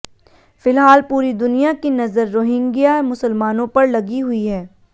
फिलहाल पूरी दुनिया की नजर रोहिंग्या मुसलमानों पर लगी हुई है